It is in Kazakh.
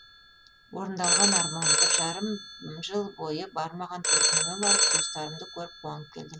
орындалған арман бір жарым жыл бойы бармаған төркініме барып туыстарымды көріп қуанып келдім